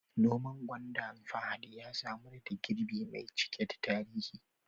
Noman gwanda Fahad ya samar da girbi mai cike da tarihi